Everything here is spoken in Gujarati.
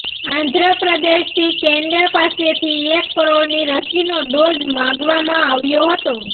આંધ્રપ્રદેશથી કેન્દ્ર પાસેથી એક કરોડની રસીનો ડોઝ માંગવામાં આવ્યો હતો